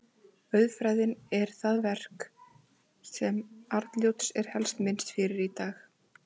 Auðfræðin er það verk sem Arnljóts er helst minnst fyrir í dag.